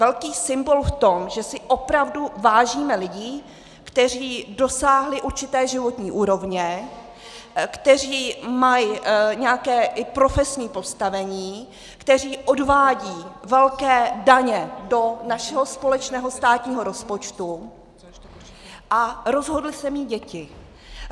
Velký symbol v tom, že si opravdu vážíme lidí, kteří dosáhli určité životní úrovně, kteří mají nějaké i profesní postavení, kteří odvádějí velké daně do našeho společného státního rozpočtu a rozhodli se mít děti.